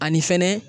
Ani fɛnɛ